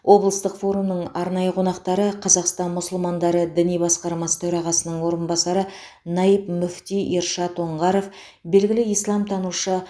облыстық форумның арнайы қонақтары қазақстан мұсылмандары діни басқармасы төрағасының орынбасары наиб муфти ершат оңғаров белгілі исламтанушы